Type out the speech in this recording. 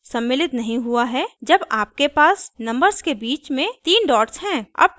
अंतिम अंक सम्मिलित नहीं हुआ है जब आपके पास नंबर्स के बीच में तीन डॉट्स हैं